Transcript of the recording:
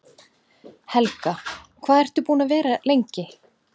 Helga: Hvað ert þú búinn að vera lengi?